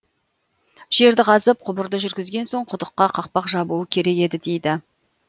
жерді қазып құбырды жүргізген соң құдыққа қақпақ жабуы керек еді дейді